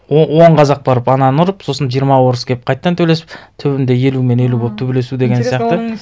он қазақ барып ананы ұрып сосын жиырма орыс келіп қайтадан төбелесіп түбінде елу мен елу болып төбелесу деген сияқты